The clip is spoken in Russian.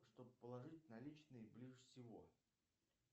чтоб положить наличные ближе всего